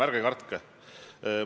Ärge kartke!